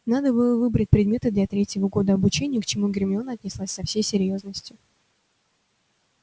надо было выбрать предметы для третьего года обучения к чему гермиона отнеслась со всей серьёзностью